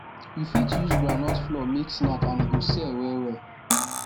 u fit use groundnut flour make snack and e go sell well well